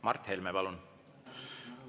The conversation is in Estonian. Mart Helme, palun!